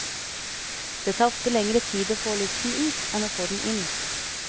Det tar ofte lenger tid å få luften ut, enn å få den inn.